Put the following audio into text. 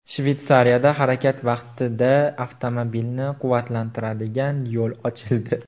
Shvetsiyada harakat vaqtida avtomobilni quvvatlantiradigan yo‘l ochildi .